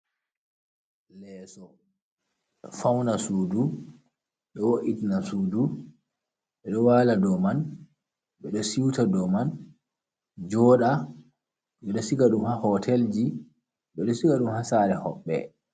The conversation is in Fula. Leeso ɗo fawna suudu, ɗo wo’itina suudu, ɓe ɗo waala dow man, ɓe ɗo siwta dow man, jooɗa, ɓe ɗo siga ɗum haa hootelji, ɓe ɗo siga ɗum haa saare hoɓɓe.